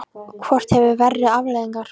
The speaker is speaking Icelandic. Hvort hefur verri afleiðingar?